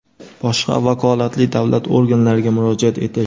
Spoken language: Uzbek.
boshqa vakolatli davlat organlariga murojaat etish;.